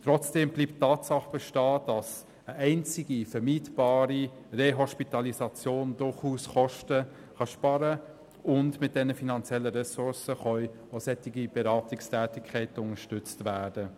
Trotzdem bleibt die Tatsache bestehen, dass eine einzige vermeidbare Rehospitalisation durchaus Kosten sparen kann, und mit diesen finanziellen Ressourcen lassen sich durchaus solche Beratungstätigkeiten unterstützen.